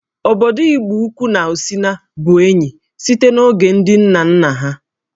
Obodo Igboukwu na Osina bụ enyi site n'oge ndị nna nna ha